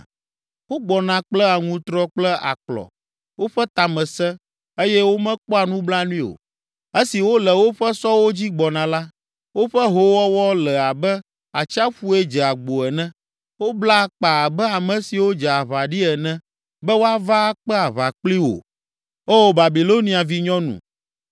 Wogbɔna kple aŋutrɔ kple akplɔ. Woƒe ta me sẽ, eye womekpɔa nublanui o. Esi wole woƒe sɔwo dzi gbɔna la, woƒe hoowɔwɔ le abe atsiaƒue dze agbo ene. Wobla akpa abe ame siwo dze aʋa ɖi ene be woava akpe aʋa kpli wò, Oo, Babilonia vinyɔnu.